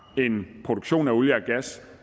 en produktion af olie og gas